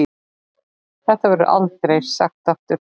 Þetta verður aldrei sagt aftur.